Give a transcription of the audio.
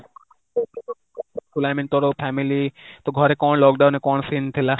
I mean ତୋର family, ତୁ ଘରେ କଣ lockdownରେ କଣ scene ଥିଲା?